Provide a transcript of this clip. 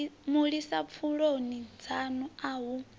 mulisa pfuloni dzanu a hu